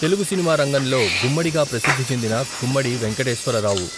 తెలుగు సినిమా రంగంలో గుమ్మడి గా ప్రసిద్ధి చెందిన గుమ్మడి వెంకటేశ్వరరావు.